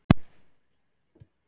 Í næstu kreppu, hvað verður þá selt?